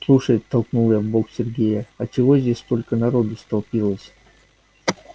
слушай толкнула я в бок сергея а чего здесь столько народу столпилось